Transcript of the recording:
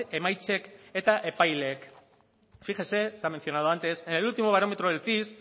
emaitzek eta epaileek fíjese se ha mencionado antes en el último barómetro del cis